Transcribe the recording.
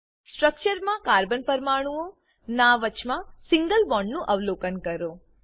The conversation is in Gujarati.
સ્ટ્રક્ચરમા કાર્બન પરમાણુઓ ના વચમાં સિંગલ બોન્ડ નું અવલોકન કરો